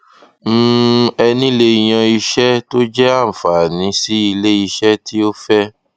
um ẹni lè yan iṣẹ tó jẹ anfàní sí iléiṣẹ tí ó fẹ